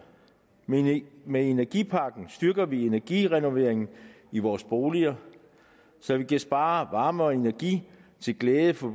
med energipakken styrker vi energirenoveringer i vores boliger så vi kan spare varme og energi til glæde for